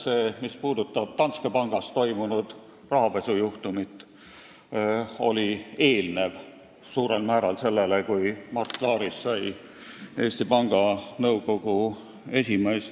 See, mis puudutab Danske Bankis toimunud rahapesujuhtumit, oli suurel määral enne seda, kui Mart Laarist sai Eesti Panga Nõukogu esimees.